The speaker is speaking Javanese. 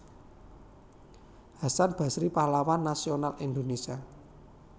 Hasan Basry Pahlawan Nasional Indonesia